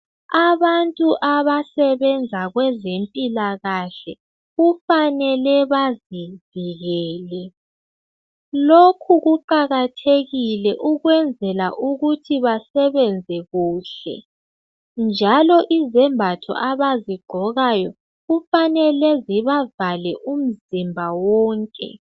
Abantu abasebenza kwezempilakahle kufanele bazivikele, lokhu kuqakathekile ukwenzela ukuthi basebenze khule njalo izembatho abazigqokayo kufanele zibavale umzimba wonke.